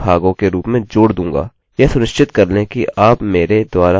यह सुनिश्चित कर लें कि आप मेरे द्वारा अपडेट्स के लिए सबस्क्राइब करें